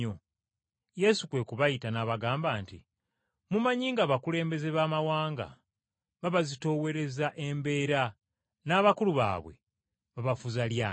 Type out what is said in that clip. Yesu kwe kubayita n’abagamba nti, “Mumanyi ng’abakulembeze b’abamawanga babazitoowereza embeera, n’abakulu baabwe babafuza lyanyi.